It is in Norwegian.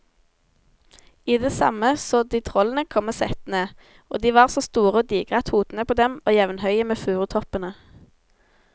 I det samme så de trollene komme settende, og de var så store og digre at hodene på dem var jevnhøye med furutoppene.